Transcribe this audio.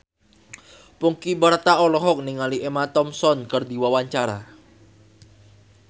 Ponky Brata olohok ningali Emma Thompson keur diwawancara